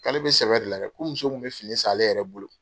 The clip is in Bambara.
K'ale bɛ sɛbɛ de la dɛ ko muso in kun bɛ fini san ale yɛrɛ bolo.